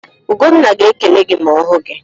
Ugonna ga-ekele gị ma ọ hụ gị.